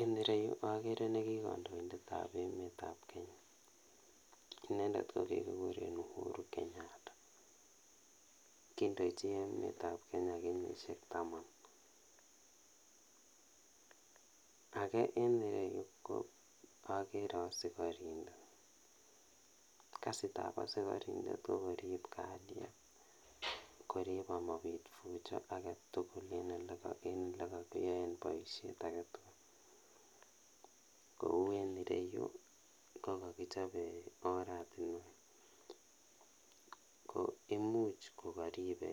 En ireyuu okeree nekikondoitetab Kenya, inendet ko kii kikuren Uhuru Kenyatta, kindochi emetab Kenya kenyishek taman, akee en ireyuu ko okeree osikorindet, kasitab osikorindet ko koriib kaliet, koriib amabit kii aketukul en elee ko kiyoen boishet aketukul kouu en ireyuu ko kokichobe oratinwek ko imuuch ko kokiribe